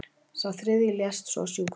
Sá þriðji lést svo á sjúkrahúsi